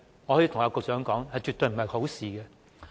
我可以告訴局長，這絕非好事。